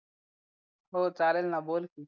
हो चालेल ना बोल